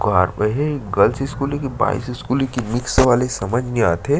ही girls school हे कि boys school हे कि मिक्स वाले हे समझ नहीं आथे।